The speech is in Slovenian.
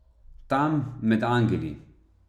Tam, med angeli.